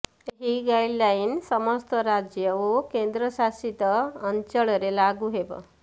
ଏହି ଗାଇଡଲାଇନ ସମସ୍ତ ରାଜ୍ୟ ଓ କେନ୍ଦ୍ରଶାସିତ ଅଞ୍ଚଳରେ ଲାଗୁ ହେବ